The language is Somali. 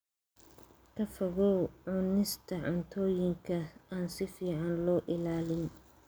Ka fogow cunista cuntooyinka aan si fiican loo ilaalin.